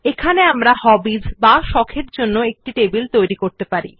এখন আমরা হবিস এর জন্য এই নতুন নথিতে একটি টেবিল তৈরি করতে পারি